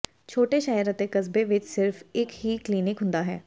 ਛੋਟੇ ਸ਼ਹਿਰ ਅਤੇ ਕਸਬੇ ਵਿੱਚ ਸਿਰਫ ਇੱਕ ਹੀ ਕਲੀਨਿਕ ਹੁੰਦਾ ਹੈ